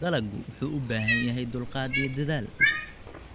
Dalaggu wuxuu u baahan yahay dulqaad iyo dadaal weyn.